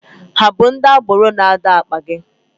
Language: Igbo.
Are they agberoes dragging ur bag?